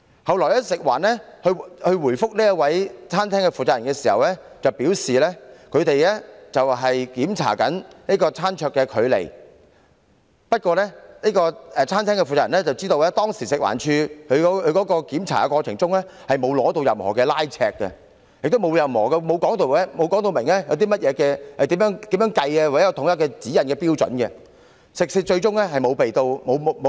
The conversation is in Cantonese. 及後，食環署在回覆餐廳負責人的查詢時表示，他們當天的目的是要檢查餐桌距離，但以餐廳負責人所知，食環署人員在當天的檢查過程中從來沒有使用任何拉尺進行量度，也沒有說明要如何計算或有否統一指引及標準，食肆最終更沒有受到檢控。